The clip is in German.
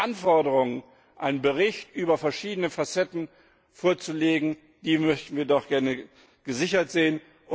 Also die Anforderungen, einen Bericht über verschiedene Facetten vorzulegen, die möchten wir doch gerne gesichert sehen.